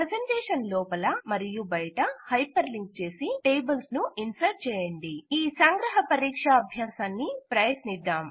క్రొత్త ప్రెసెంటేషన్ ను క్రియేట్ చేయండి ఈ సంగ్రహ పరీక్షా అభ్యాసాన్ని ప్రయత్నిద్దాం